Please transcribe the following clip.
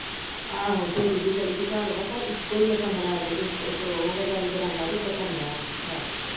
ਆਹੋ ਛੋਟੀ ਜਿਹੀ ਗੱਲੀ ਚ ਘਰ ਆ ਪਰ ਇੱਕੋ ਆ ਕਮਰਾ ਅਜੇ ਤੇ ਇੱਕ ਉਹ ਆ ਗਾੜੀ ਬਰਾਂਡਾ ਤੇ ਇਕ ਕਮਰਾ ਬਸ ।